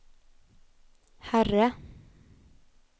herre